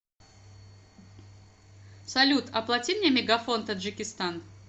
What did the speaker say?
салют оплати мне мегафон таджикистан